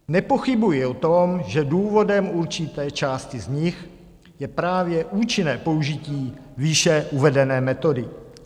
Nepochybuji o tom, že důvodem určité části z nich je právě účinné použití výše uvedené metody.